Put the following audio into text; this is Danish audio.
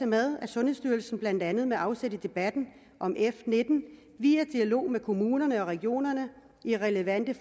med at sundhedsstyrelsen blandt andet med afsæt i debatten om f nitten via dialog med kommuner og regioner i relevante